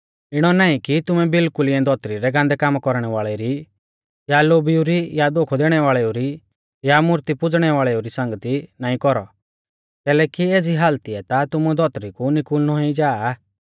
इणौ नाईं कि तुमै बिल्कुल इऐं धौतरी रै गान्दै कामा कौरणै वाल़ेउ री या लोभिऊ री या धोखौ दैणै वाल़ेऊ री या मूर्ती पुज़णै वाल़ेउ री संगती नाईं कौरौ कैलैकि एज़ी हालतीऐ ता तुमु धौतरी कु निकुल़नौ ई जा